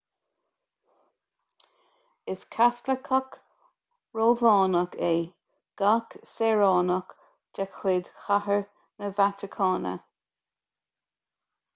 is caitliceach rómhánach é gach saoránach de chuid chathair na vatacáine